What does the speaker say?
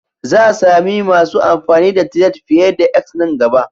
Za a sami masu amfani da Tired fiye da 'X' nan gaba.